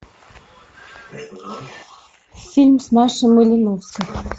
фильм с машей малиновской